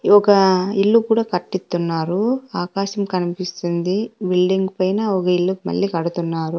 ఒక ఇల్లు కూడా కట్టిత్తున్నారు ఆకాశం కనిపిస్తుంది బిల్డింగ్ పైన ఒక ఇల్లు మళ్ళీ కడుతున్నారు.